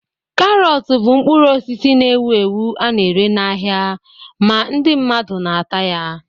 Karọt bụ mkpụrụ osisi na-ewu ewu a na-ere n'ahịa ma ndị mmadụ na-ata ya.